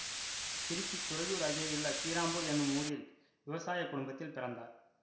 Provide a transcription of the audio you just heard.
திருச்சி துறையூர் அகேயுள்ள கீராம்பூர் என்ற ஊரில் விவசாய குடும்பத்தில் பிறந்தார்